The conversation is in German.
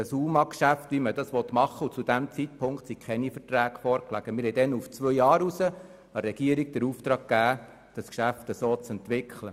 Zu diesem Zeitpunkt lagen keine Verträge vor, wir haben der Regierung auf zwei Jahre hinaus den Auftrag gegeben, dieses Geschäft entsprechend zu entwickeln.